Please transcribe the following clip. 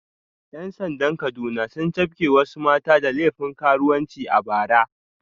‘Yan sandan Kaduna sun cafke wasu mata da laifin karuwanci a bara